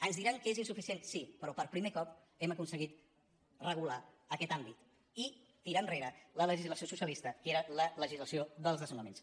ens diran que és insuficient sí però per primer cop hem aconseguit regular aquest àmbit i tirar enrere la legislació socialista que era la legislació dels des·nonaments